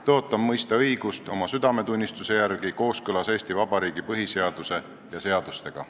Tõotan mõista õigust oma südametunnistuse järgi kooskõlas Eesti Vabariigi põhiseaduse ja seadustega.